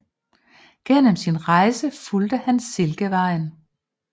Gennem sin rejse fulgte han silkevejen